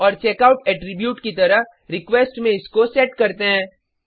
और checkout attribute की तरह रिक्वेस्ट में इसको सेट करते हैं